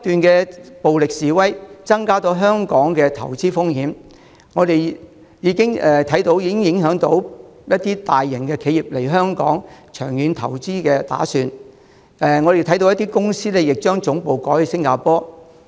另外，暴力示威不斷，增加了香港的投資風險，就我們所見，這已影響了一些大型企業來港作長遠投資的打算。我亦看到有些公司將總部改設於新加坡。